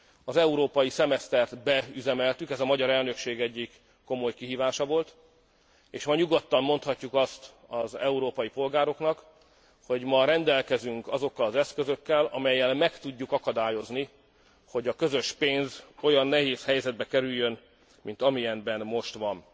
Az európai szemesztert beüzemeltük ez a magyar elnökség egyik komoly kihívása volt és ma nyugodtan mondhatjuk azt az európai polgároknak, hogy ma rendelkezünk azokkal az eszközökkel, amelyekkel meg tudjuk akadályozni, hogy a közös pénz olyan nehéz helyzetbe kerüljön, mint amilyenben most van.